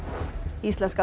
íslenska